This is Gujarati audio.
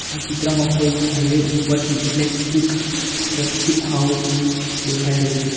આ ચિત્રમાં કોઈ હાઇવે ઉપરથી ઇલેક્ટ્રીક સર્કિટ હાઉસ દેખાઈ રહ્યું છે.